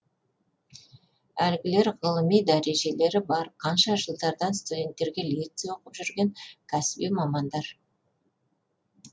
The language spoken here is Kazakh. әлгілер ғылыми дәрежелері бар қанша жылдардан студенттерге лекция оқып жүрген кәсіби мамандар